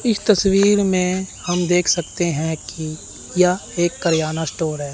इस तस्वीर में हम देख सकते हैं कि या एक करियाना स्टोर है।